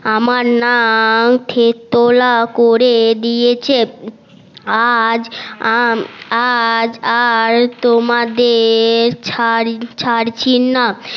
আমার নাক থেতলা করে দিয়েছে আজ আর তোমাদের ছাড়ছি না